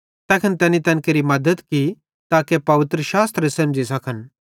तैखन तैनी तैन केरि मद्दत की ताके पवित्रशास्त्रे सेमझ़ी सखन